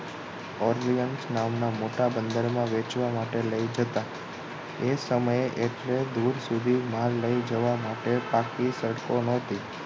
ઓલિમ્યશ નામના મોટા બંદરમા વેચવા માટે લઈ જતાં એ સમયે એટલે દૂર સુધી માલ લઈ જવા માટે પાકી સડકો ન હતી